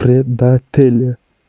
предатель